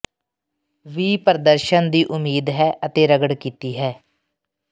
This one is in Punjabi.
ਵੀ ਪ੍ਰਦਰਸ਼ਨ ਦੀ ਉਮੀਦ ਹੈ ਅਤੇ ਰਗੜ ਕੀਤੀ ਹੈ